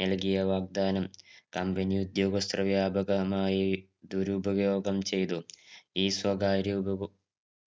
നൽകിയ വാഗ്ദാനം company ക്ക് ഉവസ്ത്ര വ്യാപകമായി ദുരുപയോഗം ചെയ്തു ഈ സ്വകാര്യ ഉപഭോക